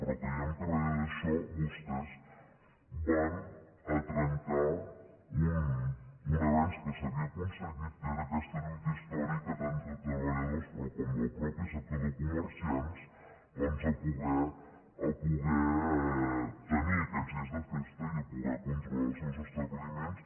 però creiem que darrere d’això vostès van a trencar un avenç que s’havia aconseguit que era aquesta lluita històrica tant de treballadors com del mateix sector de comerciants per poder tenir aquests dies de festa i per poder controlar els seus establiments